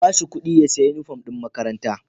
A bashi kudi ya siya inufom din makaranta